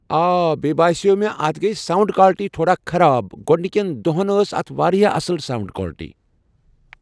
آ بییٚہِ باسیو مےٚ اتھ گیہ ساونڈ کالٹی تھوڑا خراب، گۄڈنِکٮ۪ن دۄہن ٲس اتھ واریاہ اصٕل ساونڈ کالٹی